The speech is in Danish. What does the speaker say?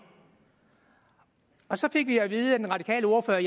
så fik vi at vide af den radikale ordfører